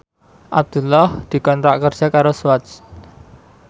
Abdullah dikontrak kerja karo Swatch